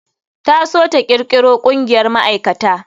Ta so ta kirkiro ƙungiyar ma'aikata.